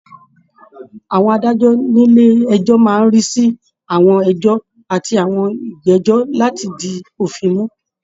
Àwọn adájọ́ nílé ẹjọ́ máa ń rí sí àwọn ẹjọ́ àti àwọn ìgbẹ́jọ́ láti di òfin mú